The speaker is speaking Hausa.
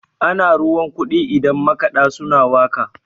ana ruwan kudi idan makada suna waka